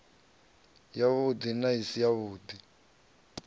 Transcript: yavhudi na i si yavhudi